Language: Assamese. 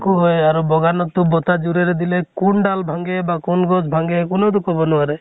কো হয় আৰু বগান টো বতাহ যোৰেৰে দিলে কোন ডাল ভাঙ্গে বা কোন গছ ভাঙ্গে কোনেও টো কʼব নোৱাৰে।